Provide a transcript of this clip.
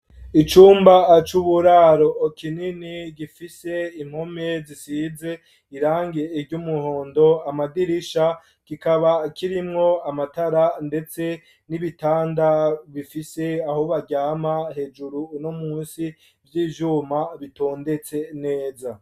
Icumba c'uburaro kinini gifise impome zisize irangi ry'umuhondo, amadirisha, kikaba kirimwo amatara ndetse n'ibitanda bifise aho baryama hejuru no munsi vy'ivyuma bitondetse neza.